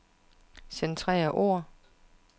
Centrer ord.